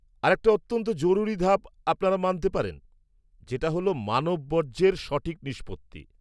-আরেকটা অত্যন্ত জরুরী ধাপ আপনারা মানতে পারেন যেটা হল মানব বর্জ্যের সঠিক নিষ্পত্তি।